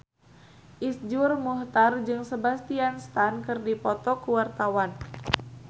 Iszur Muchtar jeung Sebastian Stan keur dipoto ku wartawan